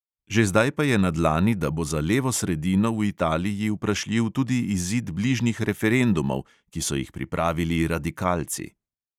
Že zdaj pa je na dlani, da bo za levo sredino v italiji vprašljiv tudi izid bližnjih referendumov, ki so jih pripravili radikalci.